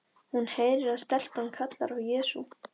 Hún heyrir að stelpan kallar á Jesú.